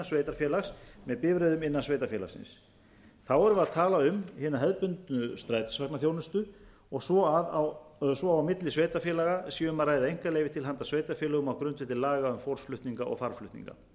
sveitarfélags með bifreiðum innan sveitarfélagsins erum við að tala um hina hefðbundnu strætisvagnaþjónustu svo og milli sveitarfélaga sé um að ræða einkaleyfi til handa sveitarfélögum á grundvelli laga á fólksflutninga og farmflutninga